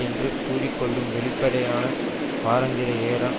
என்று கூறிக்கொள்ளும் வெளியீடான வாராந்திர ஏடான்